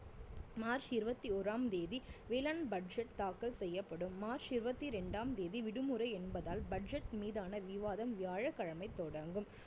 March இருவத்தி ஓறாம் தேதி வேளாண் budget தாக்கல் செய்யப்படும் மார்ச் இருவத்தி ரெண்டாம் தேதி விடுமுறை என்பதால் budget மீதான விவாதம் வியாழக்கிழமை தொடங்கும்